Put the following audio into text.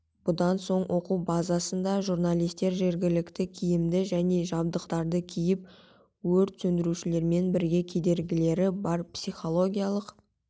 бұдан соң оқу базасында журналистер жауыпгерлік киімді және жабдықтарды киіп өрт сөндірушілермен бірге кедергілері бар психологиялық